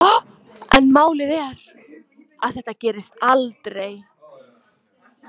En málið er að þetta gerist aldrei.